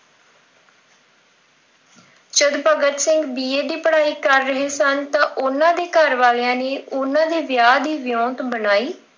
ਜਦ Bhagat Singh B. A. ਦੀ ਪੜ੍ਹਾਈ ਕਰ ਰਹੇ ਸਨ। ਤਾਂ ਉਹਨਾਂ ਦੇ ਘਰ ਵਾਲਿਆਂ ਨੇ ਉਹਨਾਂ ਦੇ ਵਿਆਹ ਦੀ ਗੱਲ ਚਲਾਈ